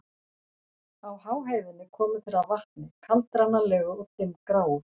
Á háheiðinni komu þeir að vatni, kaldranalegu og dimmgráu.